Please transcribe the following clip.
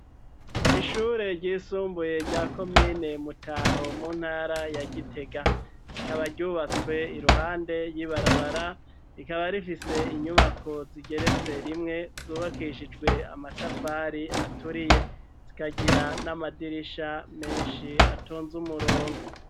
Ishure ry'isumbuye rya komine mutaho mu ntara ya gitega rikaba ryubatswe iruhande ry'ibarabara rikaba rifise inyubako zigeretse rimwe zubakishijwe amatafari aturiye zikagira n'amadirisha menshi atonze umurongo.